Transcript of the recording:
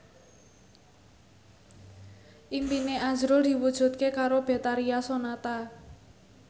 impine azrul diwujudke karo Betharia Sonata